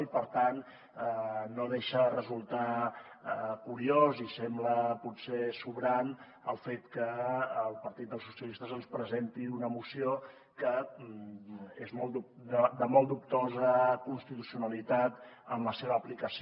i per tant no deixa de resultar curiós i sembla potser sobrant el fet que el partit socialistes ens presenti una moció que és de molt dubtosa constitucionalitat en la seva aplicació